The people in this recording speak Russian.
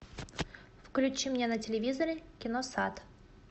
включи мне на телевизоре киносад